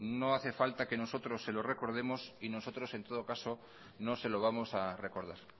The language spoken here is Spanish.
no hace falta que nosotros se lo recordemos y nosotros no se lo vamos a recordar